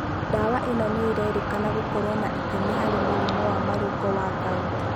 Ndawa ĩno nĩ ĩrerĩkana gũkorũo na itemi harĩ mũrimũ wa marũngo wa gout.